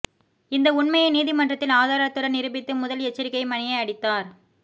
இந்த உண்மையை நீதிமன்றத்தில் ஆதாரத்துடன் நிரூபித்து முதல் எச்சரிக்கை மணியை அடித்தார்